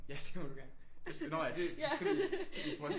Ja det må du gerne nå ja det skal vi i forhold til